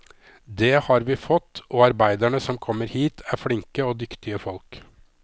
Det har vi fått, og arbeiderne som kommer hit er flinke og dyktige folk.